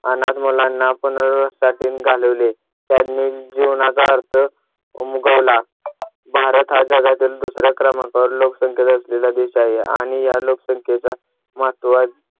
अनाथ मुलांना आपण त्यातून घालवले. त्यांनी जीवनाचा अर्थ उमगावला. भारत हा जगातील दुसऱ्या क्रमांकावर लोकसंख्या असलेला देश आहे आणि या लोकसंख्येचा महत्वाचा